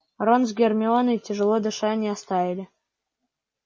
рон с гермионой тяжело дыша не отставали